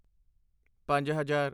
ਪੰਜ ਹਜ਼ਾਰ